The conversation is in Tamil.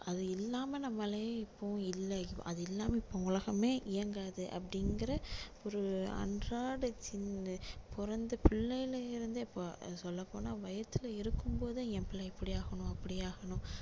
அது இல்லாம நம்மளே இப்போ இல்லை அது இல்லாம இப்போ உலகமே இயங்காது அப்படிங்கிற ஒரு அன்றாட சின்~ பிறந்த பிள்ளையில இருந்தே இப்போ சொல்ல போனா வயித்துல இருக்கும் போதே என் பிள்ளை இப்படி ஆகணும் அப்படி ஆகணும்